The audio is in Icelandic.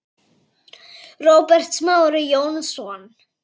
Róbert Smári Jónsson